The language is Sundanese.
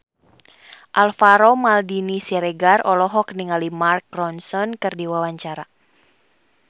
Alvaro Maldini Siregar olohok ningali Mark Ronson keur diwawancara